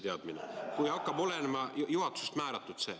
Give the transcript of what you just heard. Siis, kui see hakkab olema juhatusest määratud.